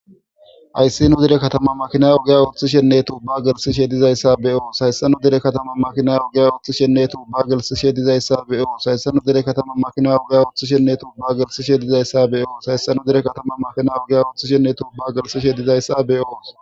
Hayssi nu dere kataman makinay ogiya ooththishenne tuuba gelsishe dizayssa be'os Hayssi nu dere kataman makinay ogiya ooththishenne tuuba gelsishe dizayssa be'os Hayssi nu dere kataman makinay ogiya ooththishenne tuuba gelsishe dizayssa be'os Hayssi nu dere kataman makinay ogiya ooththishenne tuuba gelsishe dizayssa be'os